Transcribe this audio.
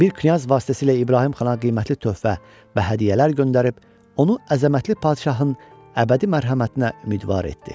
Bir knyaz vasitəsilə İbrahim xana qiymətli töhfə və hədiyyələr göndərib onu əzəmətli padşahın əbədi mərhəmətinə ümidvar etdi.